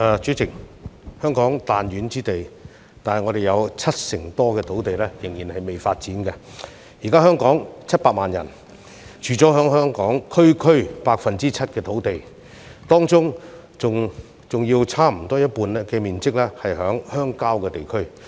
主席，香港是彈丸之地，但卻有七成多土地尚未發展，現時的700萬人口是居住在區區 7% 的土地之上，當中更有差不多一半屬鄉郊地區。